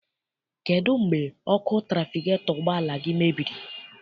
Kedụ mgbe ọkụ trafigetọ ụgbọala gị mebiri?